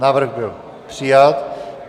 Návrh byl přijat.